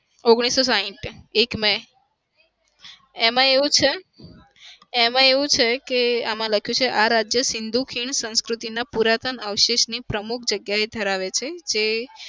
ઓગણીસો સાહીઠ એક may એમાં એવું છે એમાં એવું છે કે આમાં લખ્યું કે આ રાજ્ય સિંધુ ખીણ સંસ્કૃતિના પુરાતન અવશેષની પ્રમુખ જગ્યાએ ધરાવે છે જે